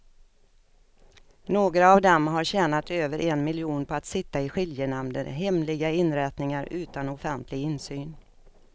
Några av dem har tjänat över en miljon på att sitta i skiljenämnder, hemliga inrättningar utan offentlig insyn.